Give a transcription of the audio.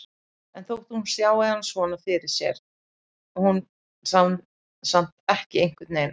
En þótt hún sjái hann svona fyrir sér sér hún hann samt einhvernveginn ekki.